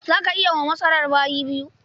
Za ka yi wa masarar bayi yau?